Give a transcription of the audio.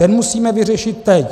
Ten musíme vyřešit teď.